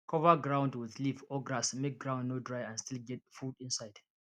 cover ground with leaf or grass make ground no dry and still get food inside